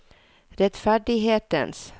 rettferdighetens